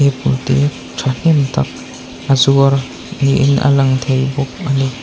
apple te thahnem tak a zuar ni in a lang thei bawk a ni.